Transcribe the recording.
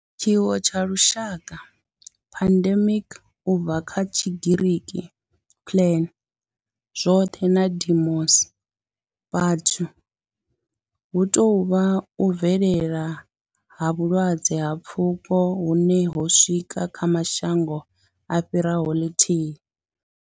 Tshiwo tsha lushaka pandemic, u bva kha Tshigiriki pan, zwoṱhe na demos, vhathu hu tou vha u bvelela ha vhulwadze ha pfuko hune ho swika kha mashango a fhiraho ḽithihi.